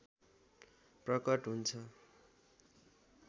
प्रकट हुन्छ